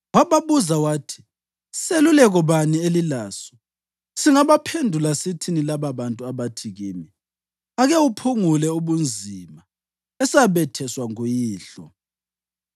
Wababuza wathi, “Seluleko bani elilaso? Singabaphendula sithini lababantu abathi kimi, ‘Ake uphungule ubunzima esabetheswa nguyihlo?’ ”